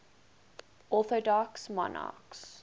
orthodox monarchs